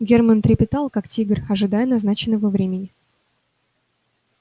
германн трепетал как тигр ожидая назначенного времени